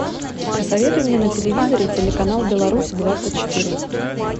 посоветуй мне на телевизоре телеканал беларусь двадцать четыре